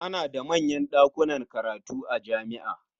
Ana da manyan ɗakunan karatu a jami'a.